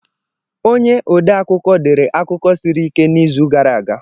Onye odeakụkọ dere akụkọ siri ike n'izu gara aga.